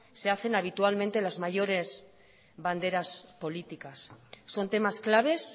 se hacen habitualmente las mayores banderas políticas son temas claves